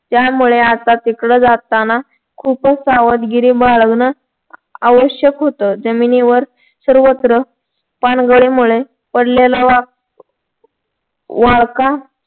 त्यामुळे आता तिकडे जाताना खूपच सावधगिरी बाळगणं आवश्यक होत. जमिनीवर सर्वत्र पानगळीमुळे पडलेला वाळका